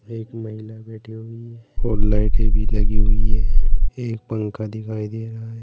एक महिला बैठी हुई और लाइटे भी लगी हुई है एक पंखा दिखाई दे रहा है।